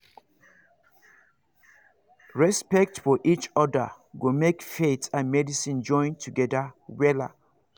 respect for each other go make faith and medicine join together wella